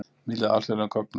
Miðla alþjóðlegum gögnum